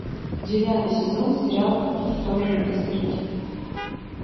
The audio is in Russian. девятый сезон сериал по ту сторону изгороди